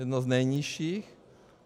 Jedno z nejnižších.